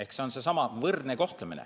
See on seesama võrdne kohtlemine.